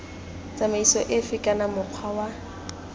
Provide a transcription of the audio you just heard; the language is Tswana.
tsamaiso efe kana mokgwa wa